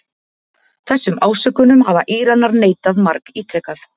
Þessum ásökunum hafa Íranar neitað margítrekað